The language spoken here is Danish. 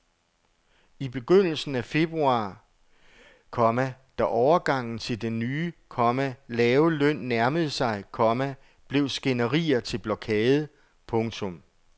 I begyndelsen af februar, komma da overgangen til den nye, komma lave løn nærmede sig, komma blev skænderier til blokade. punktum